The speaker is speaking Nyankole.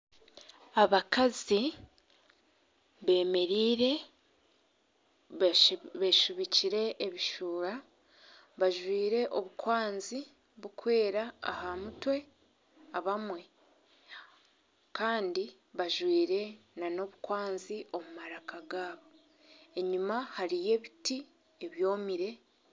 Abakazi bemereire befubikire ebisuura bajwaire obukwanzi burikwera ahamutwe abamwe Kandi bajwaire nana obukwanzi omumaraka gaabo enyuma hariyo ebiti ebyomire